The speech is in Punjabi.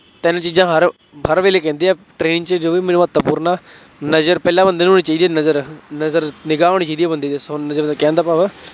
ਤਿੰਨ ਚੀਜ਼ਾਂ ਹਰ ਹਰ ਵੇਲੇ ਕਹਿੰਦੇ ਆ train ਚ ਜੋ ਵੀ ਮਿਲੇ, ਮਹੱਤਵਪੂਰਨ ਹੈ, ਨਜ਼ਰ ਪਹਿਲਾਂ ਬੰਦੇ ਨੂੰ ਹੋਣੀ ਚਾਹੀਦੀ ਹੈ, ਨਜ਼ਰ, ਨਜ਼ਰ, ਨਿਗ੍ਹਾ ਹੋਣੀ ਚਾਹੀਦੀ ਹੈ ਬੰਦੇ ਦੀ, ਸੋ ਮੇਰੇ ਕਹਿਣ ਦਾ ਭਾਵ ਹੈ